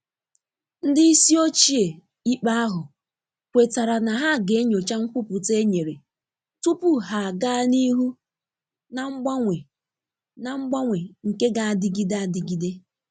Ndị isi ochie ikpe ahụ kwetara na ha ga enyocha nkwupụta e nyere tupu ha aga n'ihu na mgbanwe na mgbanwe nke g'adịgide adịgide.